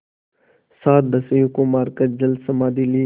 सात दस्युओं को मारकर जलसमाधि ली